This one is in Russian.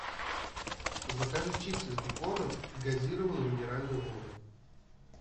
закажи чипсы с беконом и газированную минеральную воду